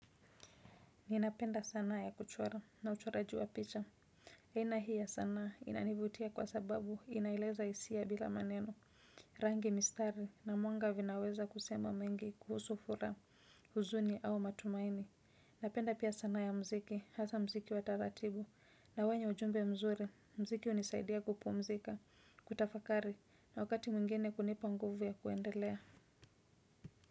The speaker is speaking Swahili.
Ninapenda sanaa ya kuchora na uchora jiwa picha. Sanahiya sanaa inanivutia kwa sababu inaeleza hisia bila maneno. Rangi mistari na mwanga vinaweza kusema mengi kuhusu furaha huzuni au matumaini. Napenda pia sanaa ya muziki hasa muziki wataratibu na wenye ujumbe mzuri. Muziki hunisaidia kupu mzika, kutafakari na wakati mwingine kunipa nguvu ya kuendelea.